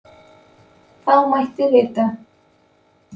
Þá mætti rita: